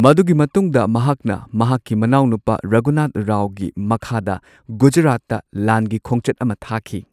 ꯃꯗꯨꯒꯤ ꯃꯇꯨꯡꯗ ꯃꯍꯥꯛꯅ ꯃꯍꯥꯛꯀꯤ ꯃꯅꯥꯎꯅꯨꯄꯥ ꯔꯘꯨꯅꯥꯊ ꯔꯥꯎꯒꯤ ꯃꯈꯥꯗ ꯒꯨꯖꯔꯥꯠꯇ ꯂꯥꯟꯒꯤ ꯈꯣꯡꯆꯠ ꯑꯃꯥ ꯊꯥꯈꯤ꯫